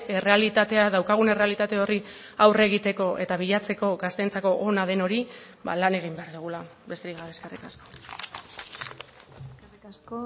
errealitatea daukagun errealitate horri aurre egiteko eta bilatzeko gazteentzako ona den hori lan egin behar dugula besterik gabe eskerrik asko eskerrik asko